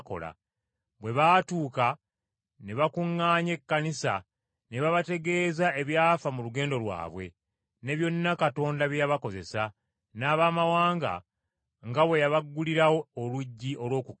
Bwe baatuuka, ne bakuŋŋaanya ekkanisa ne babategeeza ebyafa mu lugendo lwabwe, ne byonna Katonda bye yabakozesa, n’Abamawanga nga bwe yabaggulirawo oluggi olw’okukkiriza.